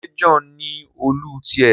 ṣe John ní Òòlù tiẹ